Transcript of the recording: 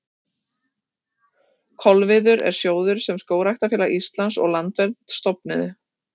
Kolviður er sjóður sem Skógræktarfélag Íslands og Landvernd stofnuðu.